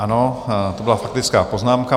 Ano, to byla faktická poznámka.